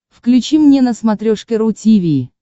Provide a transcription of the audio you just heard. включи мне на смотрешке ру ти ви